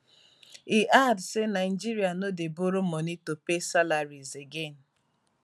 e add say nigeria no dey borrow money to pay salaries again